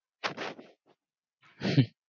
হম